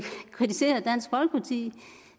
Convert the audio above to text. sige